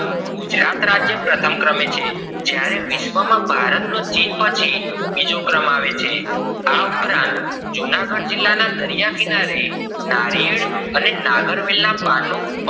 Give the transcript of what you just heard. ગુજરાત રાજ્ય પ્રથમ ક્રમે છે જ્યારે ભારત નો ચીન પછી બીજો ક્રમ આવે છે આ ઉપરાંત જુનાગઢ જિલ્લા ના દરીયા કિનારે નારિયેળ અને નાગરવેલ ના પાન નો